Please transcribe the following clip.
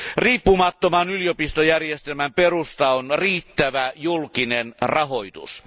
Riippumattoman yliopistojärjestelmän perusta on riittävä julkinen rahoitus.